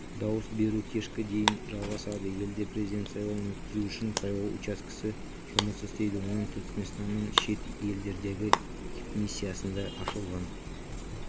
дауыс беру кешкі дейін жалғасады елде президент сайлауын өткізу үшін сайлау учаскесі жұмыс істейді оның түркіменстанның шет елдердегі дипмиссиясында ашылған